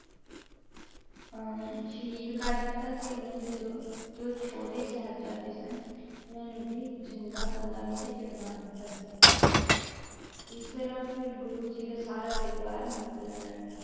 ਅਹ ਸ਼ਹੀਦ ਕਰ ਦਿੱਤਾ ਤੇ ਉਹਨਾਂ ਦੇ ਜੋ ਜੋ ਛੋਟੇ ਸਾਹਿਬਜ਼ਾਦੇ ਸਨ ਉਹਨਾਂ ਨੂੰ ਵੀ ਜ਼ਿੰਦਾ ਕੰਧਾਂ ਵਿੱਚ ਚਿਣਵਾ ਦਿੱਤਾ ਸੀ ਇਸ ਤਰ੍ਹਾਂ ਫਿਰ ਗੁਰੂ ਜੀ ਦਾ ਸਾਰਾ ਪਰਿਵਾਰ ਮੁਗਲਾਂ ਨਾਲ